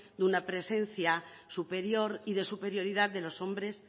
una presencia superior y de superioridad de los hombres